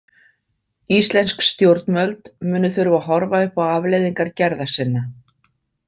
Íslensk stjórnvöld munu þurfa að horfa upp á afleiðingar gerða sinna.